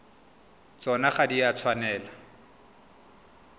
tsona ga di a tshwanela